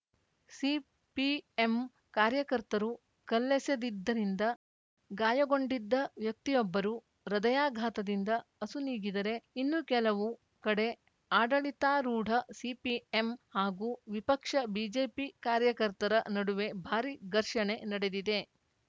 CPM ಕಾರ್ಯಕರ್ತರು ಕಲ್ಲೆಸೆದಿದ್ದರಿಂದ ಗಾಯಗೊಂಡಿದ್ದ ವ್ಯಕ್ತಿಯೊಬ್ಬರು ಹೃದಯಾಘಾತದಿಂದ ಅಸುನೀಗಿದರೆ ಇನ್ನೂ ಕೆಲವು ಕಡೆ ಆಡಳಿತಾರೂಢ ಸಿಪಿಎಂ ಹಾಗೂ ವಿಪಕ್ಷ ಬಿಜೆಪಿ ಕಾರ್ಯಕರ್ತರ ನಡುವೆ ಭಾರಿ ಘರ್ಷಣೆ ನಡೆದಿದೆ